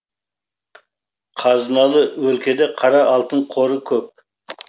қазыналы өлкеде қара алтын қоры көп